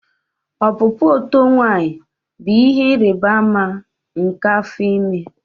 Ọpụpụ oto nwanyi bụ ihe ịrịba ama nke afọ ime